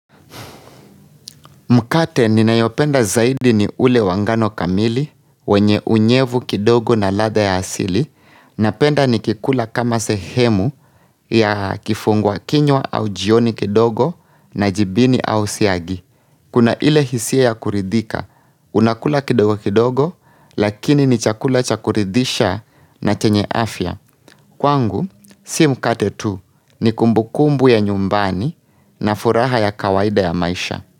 Mkate ni nayopenda zaidi ni ule wangano kamili, wenye unyevu kidogo na latha ya asili, na penda ni kikula kama sehemu ya kifungua kinywa au jioni kidogo na jibini au siagi. Kuna ile hisia ya kuridhika, unakula kidogo kidogo, lakini ni chakula cha kuridhisha na chenye afya. Kwangu, si mkate tu ni kumbukumbu ya nyumbani na furaha ya kawaida ya maisha.